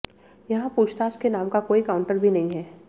यहां पूछताछ के नाम का कोई काउन्टर भी नहीं है